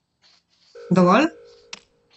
Dovolj?